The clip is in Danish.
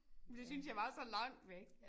Det synes jeg var så langt væk